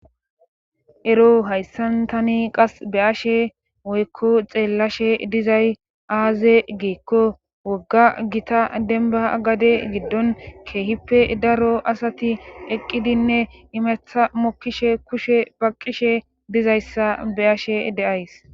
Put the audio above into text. Ero hayssan tani qas be ashe woykko xeellashe dizay aaze geekko wogga gita denba gade giddon keehippe daro asati eqqidinne imeththa mokkishe kushe baqqishe dizayssa be ashe deays.